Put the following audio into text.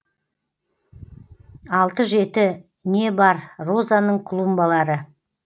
алты жеті не бар розаның клумбалары